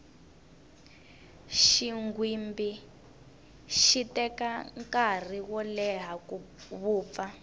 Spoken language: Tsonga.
xinghwimbi xi teka nkarhi wo leya ku vupfa